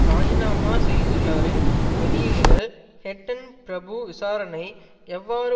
ராஜிநாமா செய்துள்ளவரின் வெளியீடுகள் ஹட்டன் பிரபு விசாரணை எவ்வாறு